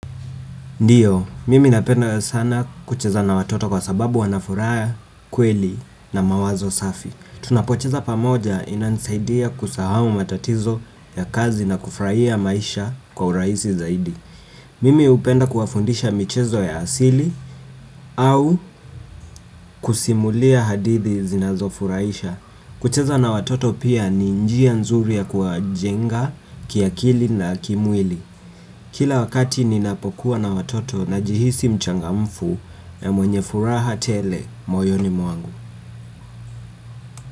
Ndiyo, mimi napenda sana kucheza na watoto kwasababu wanafuraha, kweli na mawazo safi. Tunapocheza pamoja, inanisaidia kusahau matatizo ya kazi na kufurahia maisha kwa urahisi zaidi. Mimi hupenda kuwafundisha michezo ya asili au kusimulia hadithi zinazofurahisha. Kucheza na watoto pia ni njia nzuri ya kuwajenga, kiakili na kimwili. Kila wakati ninapokuwa na watoto na jihisi mchangamfu na mwenye furaha tele moyoni mwangu.